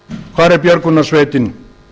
hvar er björgunarsveitin